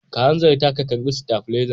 Ka hanzarta ka karba stafilezan.